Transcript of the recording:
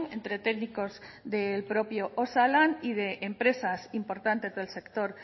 entre técnicos del propio osalan y de empresas importantes del sector